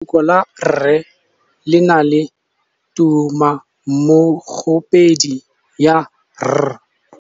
Lefoko la rre le na le tumammogôpedi ya, r.